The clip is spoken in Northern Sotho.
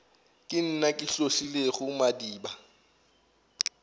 ke nna ke hlotlilego madiba